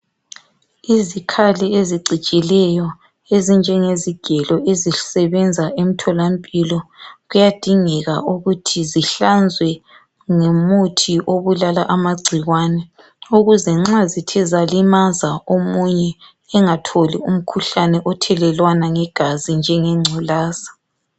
Izikhali ezicijileyo ezinjengezigelo ezisebenza emtholampilo. Kuyadingeka ukuthi zihlanzwe ngomuthi obulala amagcikwane. Ukuze nxa zithe zalimaza omunye, engatholi umkhuhlane othelelwana ngegazi njengengculaza.